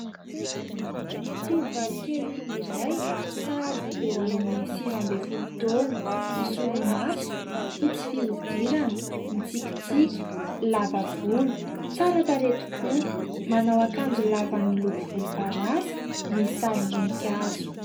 Tovovavikely irey sahabo eo amin'ny sivy ambin'ny folo taona, misolomaso, fotsy fihodirana, mitsikitsiky, lava volo, tsara tarehy tokoa manao akanjo lava miloko volomparasy misy sarim-boninkazo.